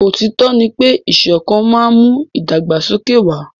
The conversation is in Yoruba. Òtítọ́ ní pé ìṣọ̀kan má n mú ìdàgbàsókè wà.